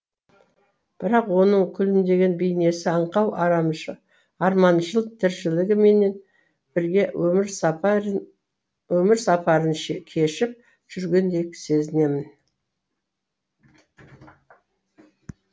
бірақ оның күлімдеген бейнесі аңқау арманшыл тіршілігі менімен бірге өмір сапа рын кешіп жүргендей сезінемін